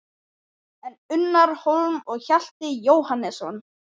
En Unnar Hólm og Hjalti Jóhannesson?